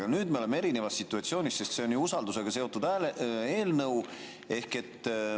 Aga nüüd me oleme erinevas situatsioonis, sest see on usaldusega seotud eelnõu.